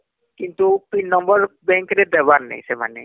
କିନ୍ତୁ pin number bank ରେ ଦେବାର ନାଇଁ ସେମାନେ